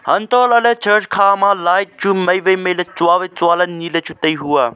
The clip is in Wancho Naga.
hantoh lah ley church khama light chu mai wai mai tsua wai tsua ley ni ley tai hu.